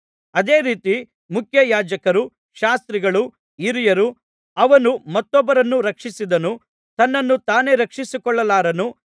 ಅದೇ ರೀತಿ ಮುಖ್ಯಯಾಜಕರೂ ಶಾಸ್ತ್ರಿಗಳೂ ಹಿರಿಯರೂ ಅವನು ಮತ್ತೊಬ್ಬರನ್ನು ರಕ್ಷಿಸಿದನು ತನ್ನನ್ನು ತಾನೇ ರಕ್ಷಿಸಿಕೊಳ್ಳಲಾರನು